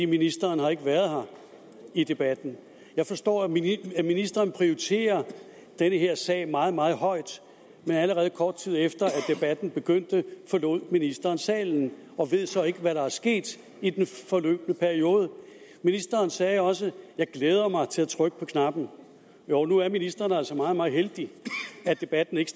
ministeren har ikke været her i debatten jeg forstår at ministeren prioriterer den her sag meget meget højt men allerede kort tid efter debatten begyndte forlod ministeren salen og ved så ikke hvad der er sket i den forløbne periode ministeren sagde også jeg glæder mig til at trykke på knappen jo nu er ministeren altså meget meget heldig at debatten ikke